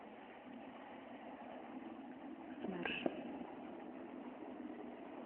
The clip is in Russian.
смерш